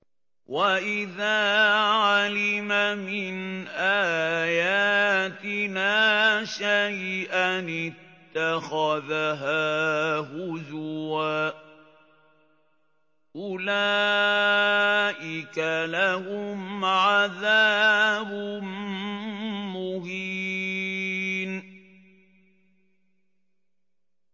وَإِذَا عَلِمَ مِنْ آيَاتِنَا شَيْئًا اتَّخَذَهَا هُزُوًا ۚ أُولَٰئِكَ لَهُمْ عَذَابٌ مُّهِينٌ